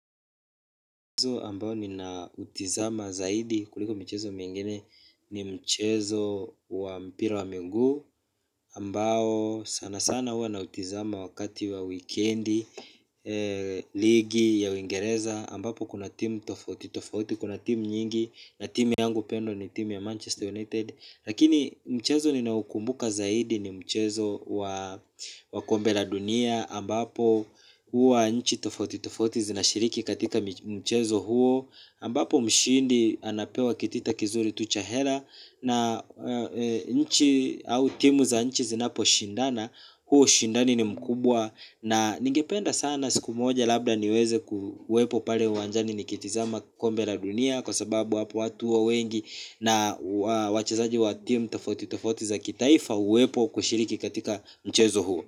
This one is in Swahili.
Mchezo ambao ninautizama zaidi kuliko michezo mingine ni mchezo wa mpira wa menguu ambao sana sana hua nautizama wakati wa wikendi, ligi ya uingereza ambapo kuna team tofauti tofauti, kuna team nyingi na team yangu pendwa ni team ya Manchester United. Lakini mchezo ninaoukumbuka zaidi ni mchezo wa wa kombe la dunia ambapo huwa nchi tofauti tofauti zinashiriki katika mchezo huo ambapo mshindi anapewa kitita kizuri tu cha hela na nchi au timu za nchi zinaposhindana huu ushindani ni mkubwa na ningependa sana siku moja labda niweze kuwepo pale uwanjani nikitizama kombe la dunia kwa sababu hapo watu huwa wengi na wachezaji wa timu tofauti tofauti za kitaifa huwepo kushiriki katika mchezo huo.